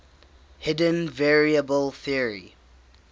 hidden variable theory